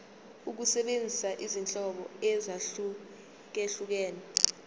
ukusebenzisa izinhlobo ezahlukehlukene